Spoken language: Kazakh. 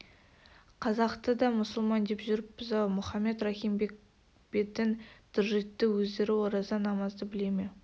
қазақты да мұсылман деп жүріппіз-ау мұхаммед рахим бек бетін тыржитты өздері ораза-намазды біле ме